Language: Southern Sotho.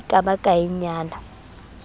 ha e ka ba kaenyana